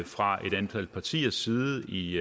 fra et antal partiers side i